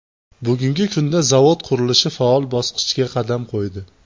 Bugungi kunda zavod qurilishi faol bosqichga qadam qo‘ydi.